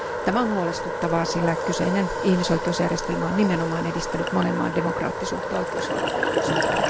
Tämä on huolestuttavaa, sillä kyseinen ihmisoikeusjärjestelmä on nimenomaan edistänyt monen maan demokraattisuutta ja oikeusvaltiollisuutta.